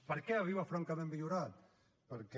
per què arriba francament millorat perquè